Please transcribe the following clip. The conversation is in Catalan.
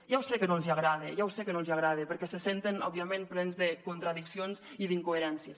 ja ho sé que no els agrada ja ho sé que no els agrada perquè se senten òbviament plens de contradiccions i incoherències